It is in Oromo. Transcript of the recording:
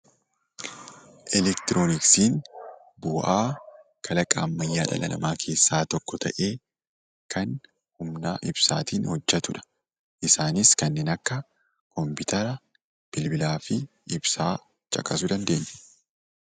Elektirooniksiin bu'aa kalaqa ammayyaa dhala namaa keessaa tokko tahee, Kan humna ibsaatiin hojjetudha. Isaaniis kanneen akka kompiitara, bilbilaa fi ibsaa caqasuu dandeenya.